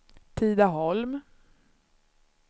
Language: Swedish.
Tidaholm